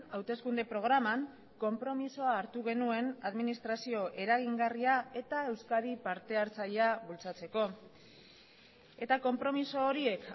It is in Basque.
hauteskunde programan konpromisoa hartu genuen administrazio eragingarria eta euskadi partehartzailea bultzatzeko eta konpromiso horiek